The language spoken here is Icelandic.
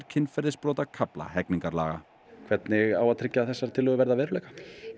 kynferðisbrotakafla hegningarlaga hvernig á að tryggja að þessar tillögur verði að veruleika